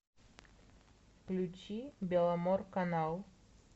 включи беломорканал